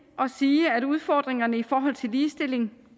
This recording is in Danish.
og sige at udfordringerne i forhold til ligestilling